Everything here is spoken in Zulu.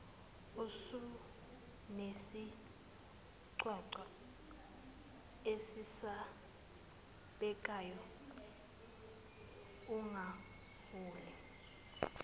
usunesigcwagcwa esesabekayo ugawule